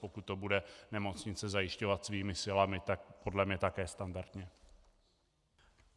Pokud to bude nemocnice zajišťovat svými silami, tak podle mě také standardně.